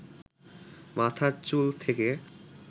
মাথার চুল থেকে